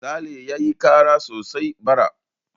Sale ya yi kara sosai bara.